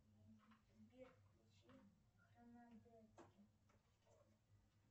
сбер включи